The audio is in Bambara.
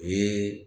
U ye